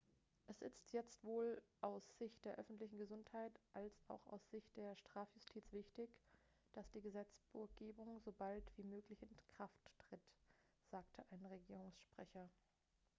es ist jetzt sowohl aus sicht der öffentlichen gesundheit als auch aus sicht der strafjustiz wichtig dass die gesetzgebung so bald wie möglich in kraft tritt sagte ein regierungssprecher